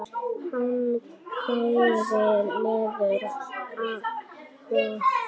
Hann keyrir niður að höfn.